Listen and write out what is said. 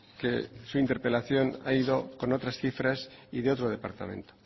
que su interpelación ha ido con otras cifras y de otro departamento